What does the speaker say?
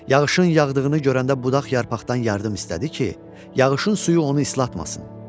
Yağışın yağdığını görəndə budaq yarpaqdan yardım istədi ki, yağışın suyu onu islatmasın.